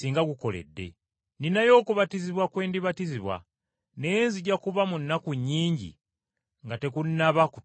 Nninayo okubatizibwa kwe ndibatizibwa, naye nzija kuba mu nnaku nnyingi nga tekunnaba kutuukirizibwa!